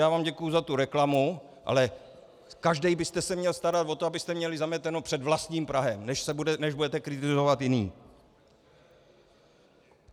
Já vám děkuji za tu reklamu, ale každý byste se měl starat o to, abyste měli zameteno před vlastním prahem, než budete kritizovat jiné.